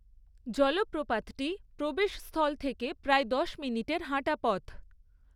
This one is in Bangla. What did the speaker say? জলপ্রপাতটি প্রবেশস্থল থেকে প্রায় দশ মিনিটের হাঁটা পথ।